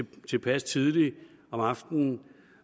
tilpas tidligt om aftenen